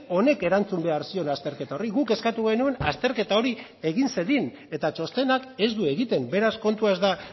honek erantzun behar zion azterketa horri guk eskatu genuen azterketa hori egin zedin eta txostenak ez du egiten beraz kontua ez da